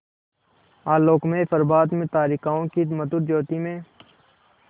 आलोकमय प्रभात में तारिकाओं की मधुर ज्योति में